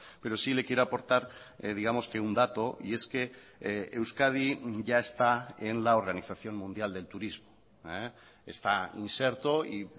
pero sí le quiero aportar digamos que un dato y es que euskadi ya está en la organización mundial del turismo está inserto y